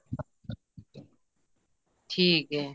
ਠੀਕ ਐ